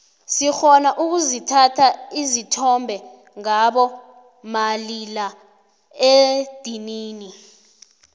sirhona ukuzithatha isithombe ngabo malila edinini